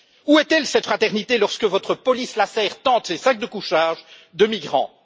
Où est elle, cette fraternité, quand votre police lacère tentes et sacs de couchage de migrants?